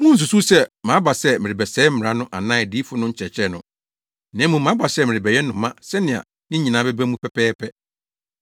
“Munnsusuw sɛ maba sɛ merebɛsɛe Mmara no anaa Adiyifo no nkyerɛkyerɛ no. Na mmom maba sɛ merebɛhyɛ no ma sɛnea ne nyinaa bɛba mu pɛpɛɛpɛ.